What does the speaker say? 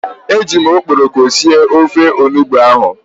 E jim okporoko sie ofe onugbu ahu